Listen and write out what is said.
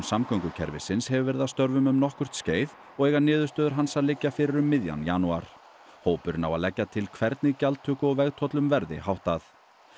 samgöngukerfisins hefur verið að störfum um nokkurt skeið og eiga niðurstöður hans að liggja fyrir um miðjan janúar hópurinn á að leggja til hvernig gjaldtöku og vegtollum verði háttað